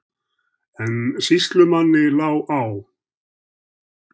En sýslumanni lá á.